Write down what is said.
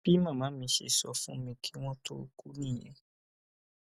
bí màmá mi ṣe sọ fún mi kí wọn tóó kú nìyẹn